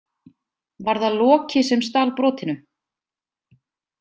Var það Loki sem stal brotinu?